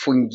fungi.